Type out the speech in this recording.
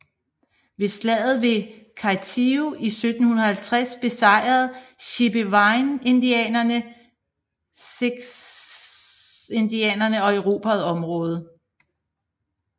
Ved slaget ved Kathio i 1750 besejrede chippewaindianerne siouxindianerne og erobrede området